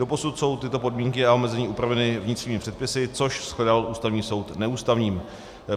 Doposud jsou tyto podmínky a omezení upraveny vnitřními předpisy, což shledal Ústavní soud neústavním.